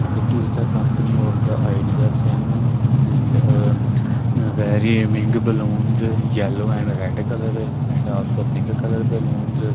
it is the company of the Idea sim and very big balloons yellow and red colour and also pink colour balloons.